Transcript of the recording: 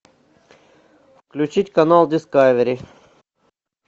включить канал дискавери